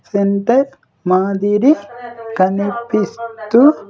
Centre Madhuri కనిపిస్తూ.